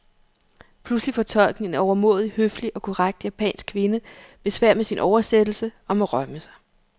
Pludselig får tolken, en overmåde høflig og korrekt japansk kvinde, besvær med sin oversættelse og må rømme sig.